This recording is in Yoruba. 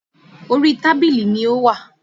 Orí tábìlì ni ó wà